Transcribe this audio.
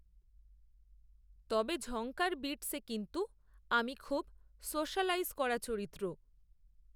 তবে ঝঙ্কার বিটসএ কিন্তু, আমি খুব, সোশালাইজ করা চরিত্র